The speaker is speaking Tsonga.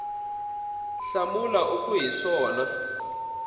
hlamula u ku hi swona